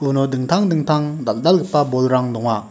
uno dingtang dingtang dal·dalgipa bolrang donga.